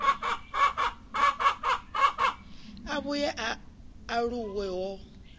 a vhuye a aluwe ho